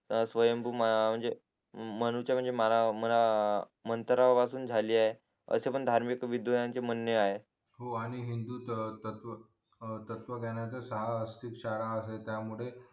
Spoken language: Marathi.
तर स्वयं म्हणजे म्हणू म्हणूचे म्हणजे मला मला मंत्रा पासून झालीये असं पण धार्मिक विदुजनाचे म्हणे आहे हो आणि हिंदूत तत्व तर तत्वज्ञाना वर तर सहा शाळा असेल तर त्यामुळे